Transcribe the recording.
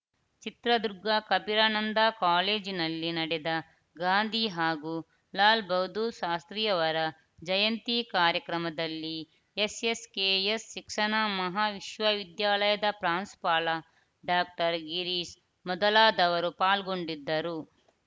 ಚಿತ್ರದುರ್ಗ ಕಬೀರನಂದಾ ಕಾಲೇಜಿನಲ್ಲಿ ನಡೆದ ಗಾಂಧಿ ಹಾಗೂ ಲಾಲ್‌ ಬಹದ್ದೂರ್‌ ಶಾಸ್ತ್ರಿ ಯವರ ಜಯಂತಿ ಕಾರ್ಯಕ್ರಮದಲ್ಲಿ ಎಸ್‌ ಎಸ್‌ ಕೆ ಎಸ್‌ ಶಿಕ್ಷಣ ಮಹಾವಿದ್ಯಾಲಯದ ಪ್ರಾಂಶುಪಾಲ ಡಾಕ್ಟರ್ ಗಿರೀಶ್‌ ಮೊದಲಾದವರು ಪಾಲ್ಗೊಂಡಿದ್ದರು